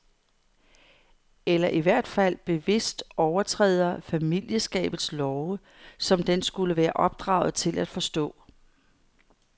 Eller i hvert fald bevidst overtræder familieskabets love, som den skulle være opdraget til at forstå.